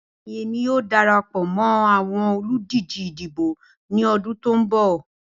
Bẹẹni, Emi yoo darapọ mọ awọn oludije idibo ni ọdun ti n bọ.